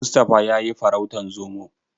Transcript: Mustapha ya yi farautan Zomo.